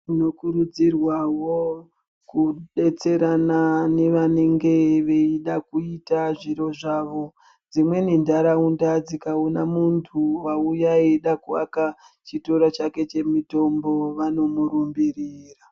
Tinokurudzirwawo kudetserana nevanenge veida kuita zviro zvavo dzimweni nharaunda dzikaona muntu wauya eida kuaka chitoro chake chemutombo vanomurumbirira.